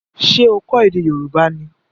Ṣé o kọ ède Yorùbá ni?